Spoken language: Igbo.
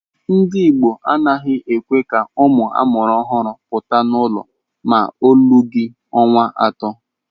Ndi igbo a naghị ekwe ka ụmụ amuru ọhụrụ pụta n’ụlọ ma olughi ọnwa atọ.